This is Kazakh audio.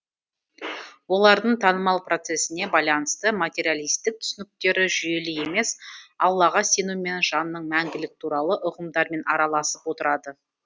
олардың таным процесіне байланысты материалистік түсініктері жүйелі емес аллаға сену мен жанның мәңгілігі туралы ұғымдармен араласып отырады